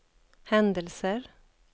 händelser